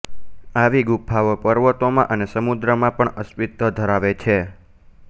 આવી ગુફાઓ પર્વતોમાં અને સમુદ્રમાં પણ અસ્તિત્વ ધરાવે છે